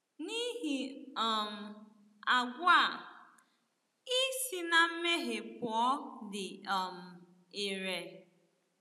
N’ihi um àgwà a, ị si na mmehie pụọ dị um ire.